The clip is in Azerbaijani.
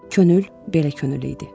Könül belə könüllü idi.